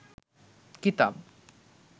কিতাব